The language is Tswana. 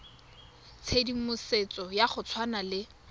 tshedimosetso ya go tshwana le